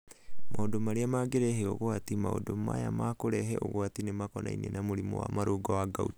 Maũndũ arĩa mangĩrehe ũgwati:maũndu aya ma kũrehe ũgwati nĩ makonainie na mũrimũ wa marũngo wa gout